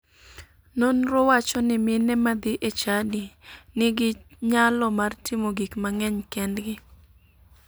Nonro wacho ni mine madhi e chadi nigi nyalo mar timo gik mang'eny kendgi.